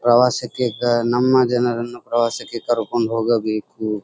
ಪ್ರವಾಸಕ್ಕೆ ಕೆ ನಮ್ಮ ಜನರನ್ನು ಪ್ರವಾಸಕ್ಕೆ ಕರಕೊಂಡು ಹೋಗಬೇಕು.